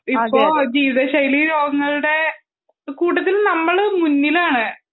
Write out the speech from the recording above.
ഇപ്പോൾ ജീവിത ശൈലി രോഗങ്ങളുടെ കൂട്ടത്തിൽ നമ്മളും മുന്നിലാണ്